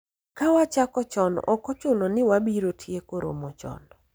ka wachako chon ok ochuno ni wabiro tieko romo chon